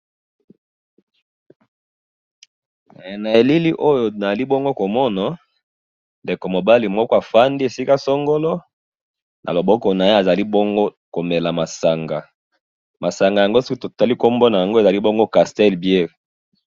he na elili oyo nazali ndenge komona ezali ndeko mobali moko afandi esika songolo azomela masanga masanga yango soki totali bien ekoki kozala nango castel beer.